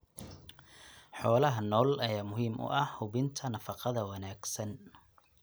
Xoolaha nool ayaa muhiim u ah hubinta nafaqada wanaagsan.